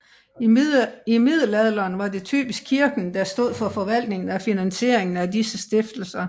I middelalderen var det typisk kirken der stod for forvaltningen og finansieringen af disse stiftelser